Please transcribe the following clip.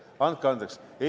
Andke andeks!